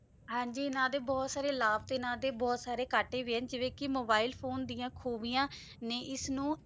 ਹਾਂਜੀ ਇਨਾਂ ਦੇ ਬੋਹਤ ਸਾਰੇ ਲਾਪ ਤੇ ਇਨਾਂ ਦੇ ਬੋਹਤ ਸਾਰੇ ਕਟੇ ਹੇਗੇ ਜਿਵੇਂ ਕੇ ਮੋਬਿਲੇ ਫੋਨੇ ਡਿਯਨ ਖੂਬਿਯਾੰ ਨੇ ਏਸ ਨੂ